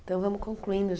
Então, vamos concluindo.